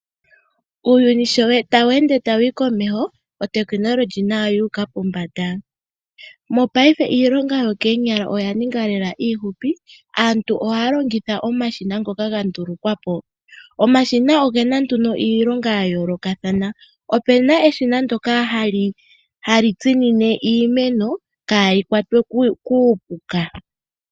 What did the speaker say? Uuyuni shi tawu ende wu uka komeho, otekinolohi nayo oyu uka pombanda. Mopaife iilonga yokoonyala oya ninga lela iifupi. Aantu ohaya longitha omashina ngoka ga ndulukwa po. Omashina oge na nduno iilonga ya yoolokathana. Opu na eshina ndyoka hali tsinine iimeno kaayi kwatwe kuupuka.